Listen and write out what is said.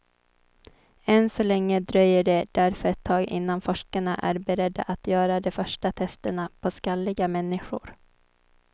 Än så länge dröjer det därför ett tag innan forskarna är beredda att göra de första testerna på skalliga människor.